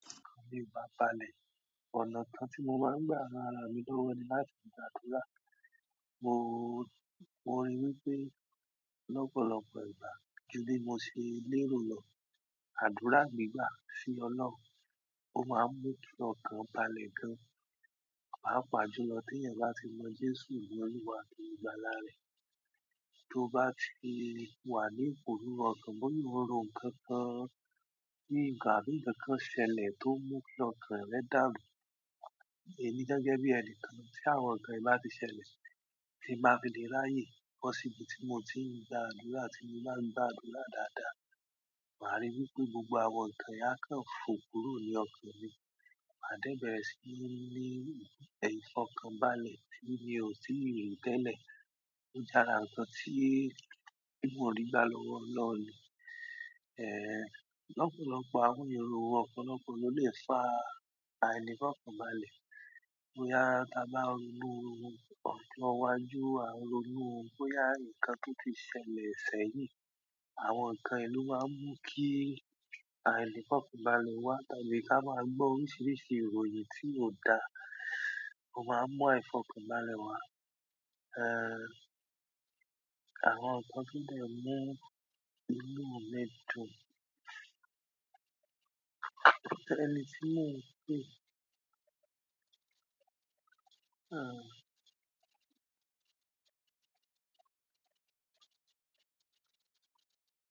Ti okan mi o ba le, ọ̀nà kan ti mo maa n gba ran ara mi lowo ni láti gbàdúrà, mo ri wípé lọ́pọ̀lọpọ̀ ìgbà ju bi mo ṣe léèro lọ. Àdúrà gbigba sí Ọlọ́run, ó máa ń mú kí ọkàn bá lè gán. Pàápàá jùlọ tí ẹ̀yà bá ti mọ́ Jésù ni oluwá àti olugbàla re. Tó bá ti wà ní iporúrú ọkàn bọ́ya oun ró nkánkán, ní ìgbà nkan kán ṣẹlẹ̀ tó mú kí ọkàn rẹ dàru. Ẹmi gẹ́gẹ́ bí ẹnìkan tí àwọn nǹkan yìí bá ti ṣẹlẹ̀ tí ń bá fi lé ráyè, bó sí ibi tí mo ti ń gba àdúrà tí mo má ń gba àdúrà dáadáa, màá ríi wípé gbogbo àwọn nǹkan yìí á kàn fò kúrò ní ọkàn mi. Màá dẹ́ bẹ̀rẹ̀ sí ní ìfọ̀kànbalẹ̀ tí mi ò tí ì rí tẹ́lẹ̀, ó j'ara nǹkan tí, tí mò rí gbà lọ́wọ́ Ọlọ́run. Ehn, lọ́pọ̀lọpọ̀ àwọn èrò ọ̀pọ̀lọpọ̀ ló lè fa àìnífọ̀kànbalẹ̀. Bo ya ta bá ń rù ọjo iwájú, à ń ronú bóyá nǹkan tó ti ṣẹlẹ̀ sẹ́yìn. Àwọn nǹkan yìí ló máa ń mú kí àìnífọ̀kànbalẹ̀ wá tàbí ká máa gbọ́ oríṣiríṣi ìròyìn tí ò dáa, ó máa ń mú aifọ̀kànbalẹ̀ wá. Ehn, àwọn nǹkan tó lè mú inú mi dùn. Ẹni tí mò ń pè. Ah!